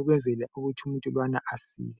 Ukwenzela ukuthi umuntu lowana asile.